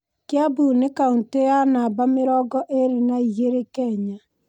Kĩambu nĩ kaũntĩ ya namba mĩrongo ĩrĩ na igĩrĩ Kenya.